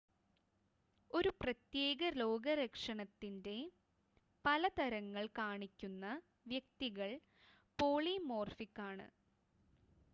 ഒരു പ്രത്യേക രോഗലക്ഷണത്തിൻ്റെ പല തരങ്ങൾ കാണിക്കുന്ന വ്യക്തികൾ പോളിമോർഫിക് ആണ്